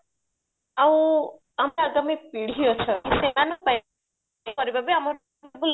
ଆଉ ଆମ ହଁ ପିଢୀ ଅଛନ୍ତି ଆଉ ସେମାଙ୍କ ପାଇଁ କରିବା ବି